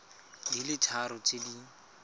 di le tharo tse di